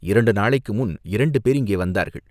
இரண்டு நாளைக்கு முன் இரண்டு பேர் இங்கே வந்தார்கள்.